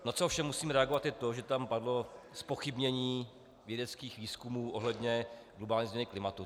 Na co ovšem musím reagovat, je to, že tam padlo zpochybnění vědeckých výzkumů ohledně globální změny klimatu.